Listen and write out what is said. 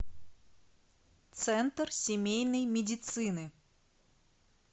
центр семейной медицины